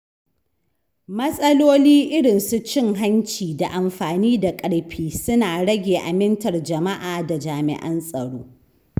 Matsaloli irin su cin hanci da amfani da ƙarfi suna rage amintar jama’a da jami'an tsaro.